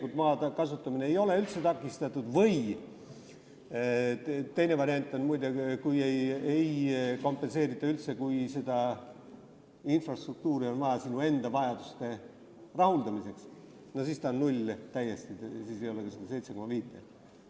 Kui maa kasutamine ei ole üldse takistatud või teine variant, muide, kui ei kompenseerita üldse ja kui seda infrastruktuuri on vaja sinu enda vajaduste rahuldamiseks, siis on ta täiesti null, st siis ei ole ka seda 7,5%.